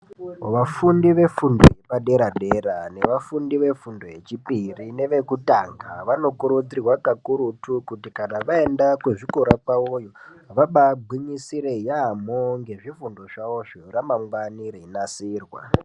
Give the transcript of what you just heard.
Vafundi vefundo yepadera dera nevafundi vefunfo yechipiri nevekutanga vanokurudzirwa kakurutu kuti kana vaenda kuzvikora kwavo, vabagwinyisire yamo, ngezvifundi zvawo zveramangwana riyinasirwa.